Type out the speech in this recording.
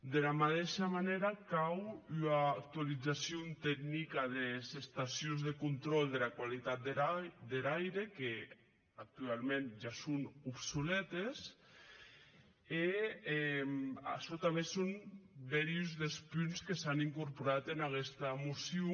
dera madeisha manèra cau ua actualizacion tecnica des estacions de contròl dera qualitat der aire qu’actuauments ja son obsoletes e açò tanben son bèri uns des punts que s’an incorporat en aguesta mocion